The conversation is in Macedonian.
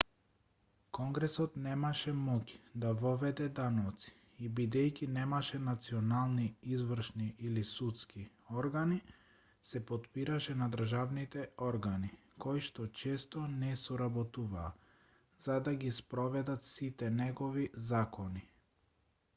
конгресот немаше моќ да воведе даноци и бидејќи немаше национални извршни или судски органи се потпираше на државните органи кои што често не соработуваа за да ги спроведат сите негови закони